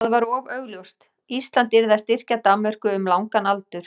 það var of augljóst: Ísland yrði að styrkja Danmörku um langan aldur.